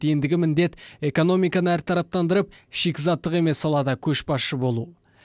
ендігі міндет экономиканы әртараптандырып шикізаттық емес салада көшбасшы болу